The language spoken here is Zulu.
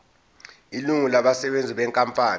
ilungu labasebenzi benkampani